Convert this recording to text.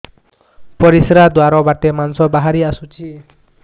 ପରିଶ୍ରା ଦ୍ୱାର ବାଟେ ମାଂସ ବାହାରି ଆସୁଛି